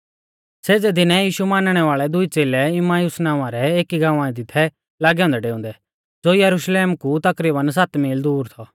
सेज़ै दीनै यीशु मानणै वाल़ै दुई च़ेलै इम्माउस नावां रै एकी गाँवा दी थै लागै औन्दै डेउंदै ज़ो यरुशलेम कु तकरीबन सात मील दूर थौ